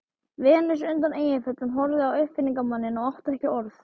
Venus undan Eyjafjöllum horfði á uppfinningamanninn og átti ekki orð.